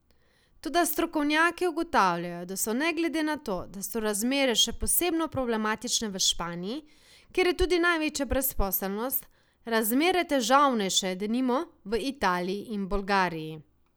Toda strokovnjaki ugotavljajo, da so ne glede na to, da so razmere še posebno problematične v Španiji, kjer je tudi največja brezposelnst, razmere težavnejše, denimo, v Italiji in Bolgariji.